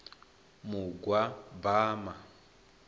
mugwabama